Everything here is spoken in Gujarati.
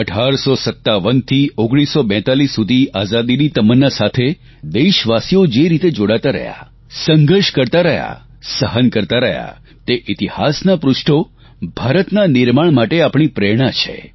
1857થી 1942 સુધી આઝાદીની તમન્ના સાથે દેશવાસીઓ જે રીતે જોડાતા રહ્યા સંઘર્ષ કરતા રહ્યા સહન કરતા રહ્યા તે ઇતિહાસનાં પૃષ્ઠો ભારતના નિર્માણ માટે આપણી પ્રેરણા છે